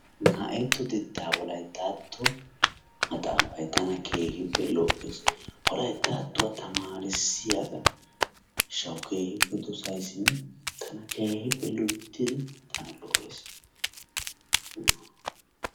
Naa"atto xeekkaa wolayttatto luxxettaa maxaafay tana keehippe lo"ees. Wolayttattuwaa tamaarissiyaagaa giishshawu keehippe dosayssinne keehippe loyttidi tana lo"ees.